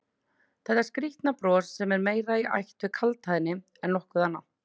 Þetta skrýtna bros sem er meira í ætt við kaldhæðni en nokkuð annað?